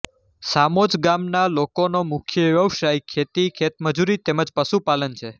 સામોજ ગામના લોકોનો મુખ્ય વ્યવસાય ખેતી ખેતમજૂરી તેમ જ પશુપાલન છે